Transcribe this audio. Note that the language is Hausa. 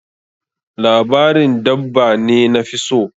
Labarin dabba ne nafi so.